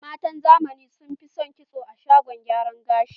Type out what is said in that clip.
Matan zamani son fi son kitso a shagon gyara gashi